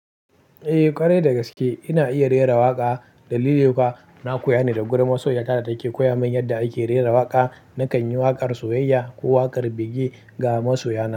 Eh ƙare da gaske ina iya rera waƙa. Dalili kuwa na koya ne da gurin masoya. Da take koya min yadda ake rera waƙa. Na kan yi waƙar soyayya ko waƙar bege ga masoya.